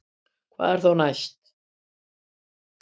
Hvað er þá næst